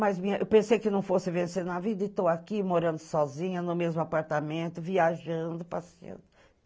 Mas eu pensei que não fosse vencer na vida e estou aqui morando sozinha no mesmo apartamento, viajando, passeando.